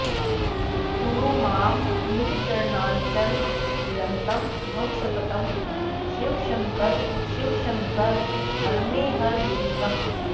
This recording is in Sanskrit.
कुरु मां निज चरणार्चन निरतं भव सततम् शिवशङ्कर शिवशङ्कर हर मे हर दुरितम्